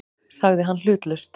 sagði hann hlutlaust.